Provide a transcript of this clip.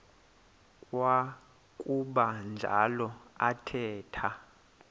kwakuba njalo athetha